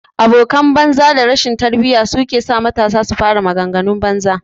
abokan banza da rashin tarbiyya sukesa matasa su fara magan ganun batsa